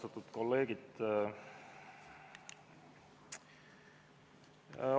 Austatud kolleegid!